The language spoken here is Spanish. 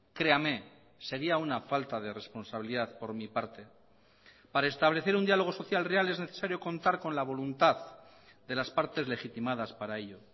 creame sería una falta de responsabilidad por mi parte para establecer un diálogo social real es necesario contar con la voluntad de las partes legitimadas para ello